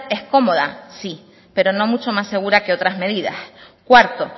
es cómoda sí pero no mucho más segura que otras medidas cuarto